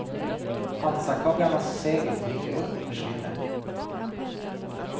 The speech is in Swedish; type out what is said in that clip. Hansakoggarnas segel dyker upp och försvinner.